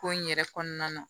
Ko in yɛrɛ kɔnɔna na